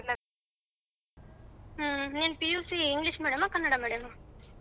ಹ್ಮ ನಿನ್ PUC English medium Kannada medium ಹ.